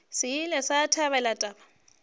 se ile sa thabela taba